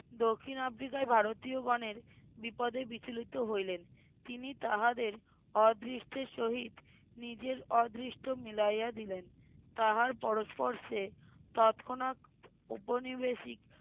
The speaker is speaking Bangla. দক্ষিন আফ্রিকায় ভারতিয়গনের বিপদে বিচলিত হইলেন তিনি তাহাদের অদৃষ্টের সহিত নিজের অদৃষ্ট মিলাইয়া দিলেন তাহার পরস্পর্শে তৎক্ষণাৎ উপনিবেশিক